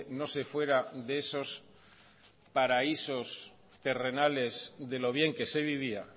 no se fuera de esos paraísos terrenales de lo bien que se vivía